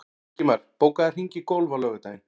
Ingimar, bókaðu hring í golf á laugardaginn.